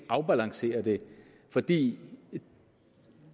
afbalancere det fordi